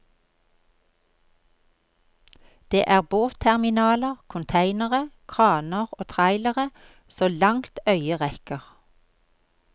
Det er båtterminaler, containere, kraner og trailere så langt øyet rekker.